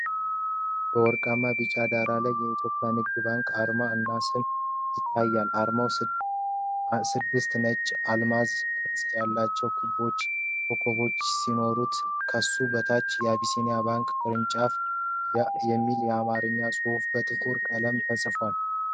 በወርቃማ ቢጫ ዳራ ላይ የኢትዮጵያ ንግድ ባንክ አርማ እና ስም ይታያል። አርማው ስድስት ነጭ አልማዝ ቅርጽ ያለው ኮከብ ሲሆን፣ ከሱ በታች አቢሲኒያ ባንክ የሚል የአማርኛ ጽሑፍ በጥቁር ቀለም ተጽፏል።